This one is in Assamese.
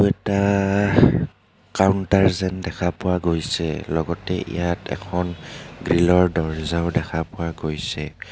এটা কাউন্তাৰ যেন দেখা পোৱা গৈছে লগতে ইয়াত এখন গ্ৰিল ৰ দৰ্জাও দেখা পোৱা গৈছে.